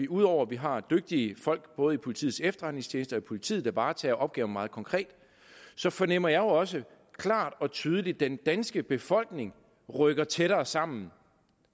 ud over at vi har dygtige folk i både politiets efterretningstjeneste og politiet der varetager opgaven meget konkret fornemmer jeg også klart og tydeligt at den danske befolkning rykker tættere sammen